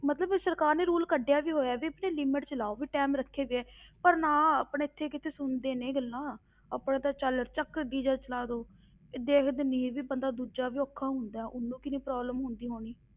ਮਤਲਬ ਵੀ ਸਰਕਾਰ ਨੇ rule ਕੱਢਿਆ ਵੀ ਹੋਇਆ ਵੀ ਆਪਣੀ limit ਵਿੱਚ ਲਾਓ, ਵੀ time ਰੱਖੇ ਗਏ ਪਰ ਨਾ, ਆਪਣੇ ਇੱਥੇ ਕਿੱਥੇ ਸੁਣਦੇ ਨੇ ਗੱਲਾਂ, ਆਪਣਾ ਤਾਂ ਚੱਲ ਚੱਕ DJ ਚਲਾ ਦਓ, ਇਹ ਦੇਖਦੇ ਨੀ ਵੀ ਬੰਦਾ ਦੂਜਾ ਵੀ ਔਖਾ ਹੁੰਦਾ, ਉਹਨੂੰ ਕਿੰਨੀ problem ਹੁੰਦੀ ਹੋਣੀ